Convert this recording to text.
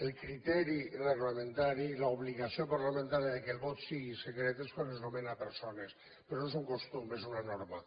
el criteri reglamentari i l’obligació parlamentària que el vot sigui secret és quan es nomenen persones però no és un costum és una norma